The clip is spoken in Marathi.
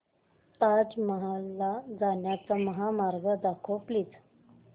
ताज महल ला जाण्याचा महामार्ग दाखव प्लीज